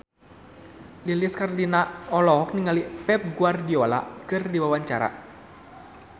Lilis Karlina olohok ningali Pep Guardiola keur diwawancara